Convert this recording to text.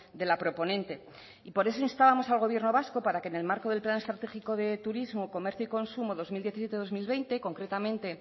de la proponente y por eso instábamos al gobierno vasco para que en el marco del plan estratégico de turismo comercio y consumo dos mil diecisiete dos mil veinte concretamente